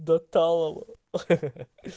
до талого